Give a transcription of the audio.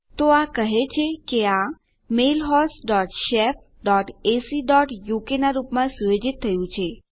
તો આ કહે છે કે આ mail host dot shef dot A C dot uk નાં રૂપમાં સુયોજિત થયું છે